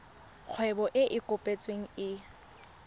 kgwebo e e kopetsweng e